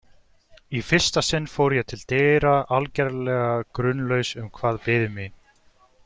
Í fyrsta sinn fór ég til dyra, algerlega grunlaus um hvað biði mín.